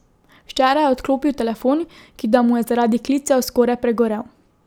Včeraj je odklopil telefon, ki da mu je zaradi klicev skoraj pregorel.